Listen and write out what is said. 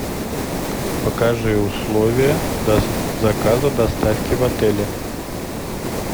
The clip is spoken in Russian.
покажи условия заказа доставки в отеле